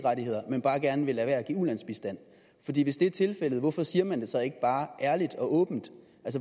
rettigheder men bare gerne vil lade være med at give ulandsbistand hvis det er tilfældet hvorfor siger man det så ikke bare ærligt og åbent